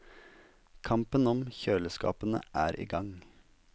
Kampen om kjøleskapene er i gang.